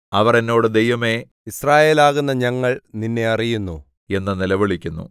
അവർ എന്നോട് ദൈവമേ യിസ്രായേലാകുന്ന ഞങ്ങൾ നിന്നെ അറിയുന്നു എന്ന് നിലവിളിക്കുന്നു